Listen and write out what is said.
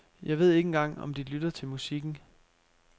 Jeg ved ikke engang om de lytter til musikken.